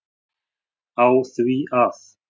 á því að